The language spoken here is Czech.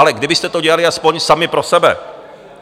Ale kdybyste to dělali aspoň sami pro sebe.